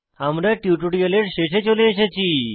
আমরা টিউটোরিয়ালের শেষে চলে এসেছি